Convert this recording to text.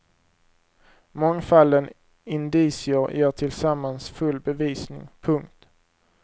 Mångfalden indicier ger tillsammans full bevisning. punkt